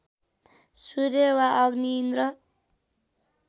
सूर्य वा अग्नि इन्द्र